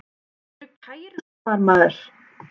Þau eru kærustupar maður!